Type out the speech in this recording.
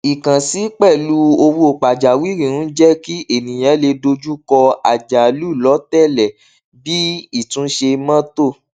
ìkànsí pẹlú owó pajawiri ń jẹ kí ènìyàn lè dojú kọ àjálù lọọtẹlẹ bíi ìtúnṣe mọtò